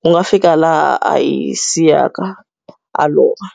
ku nga fika laha a hi siyaka, a lova.